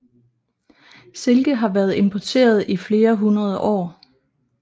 Silke har været importeret i flere hundrede år